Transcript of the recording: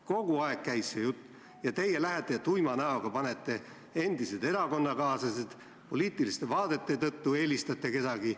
Kogu aeg käis see jutt, aga teie lähete ja tuima näoga panete ametisse endised erakonnakaaslased, poliitiliste vaadete tõttu eelistate kedagi.